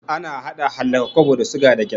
Ana hada hallaka kwabo da suga da gyaɗa